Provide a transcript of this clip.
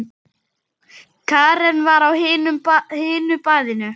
Karen var á hinu baðinu.